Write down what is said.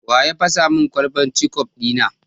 Wa ya fasa min kwalban kecof ɗi na?